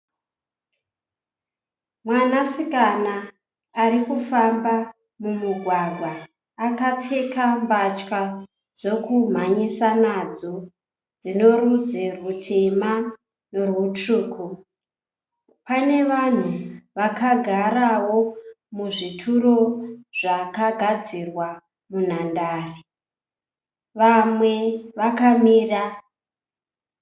Mwanasikana ari kufamba mumugwagwa akapfeka mbatya dzekumhanyisa nadzo dzinorudzi rutema nerutsvuku. Pane vanhu vakagarawo muzvituro zvakagadzirwa munhandare. Vamwe vakamira.